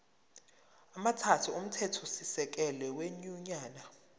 amathathu omthethosisekelo wenyunyane